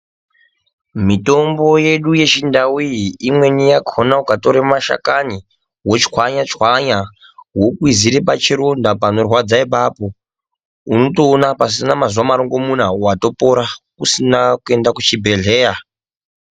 Mitombo yedu yechindau iyi imweni yakona ukatore mashakani votswanya-tswanya, vokwizira pachironda panorwadza ipapo. Unotoona pasina mazuva marongomuna vopora usina kuende kuchibhedhleya.